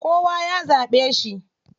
Kowa ya zaɓe shi.